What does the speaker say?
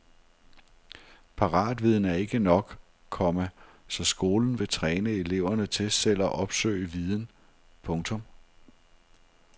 Paratviden er ikke nok, komma så skolen vil træne eleverne til selv at opsøge viden. punktum